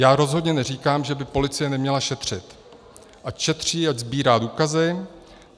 Já rozhodně neříkám, že by policie neměla šetřit, ať šetří a sbírá důkazy.